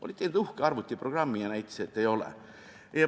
Oli tehtud uhke arvutiprogramm ja see näitas, et ei ole.